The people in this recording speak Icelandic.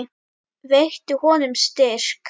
Veittu honum styrk.